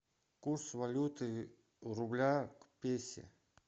курс валюты рубля к песе